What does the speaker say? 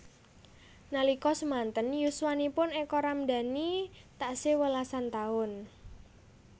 Nalika semanten yuswanipun Eka Ramdani taksih welasan taun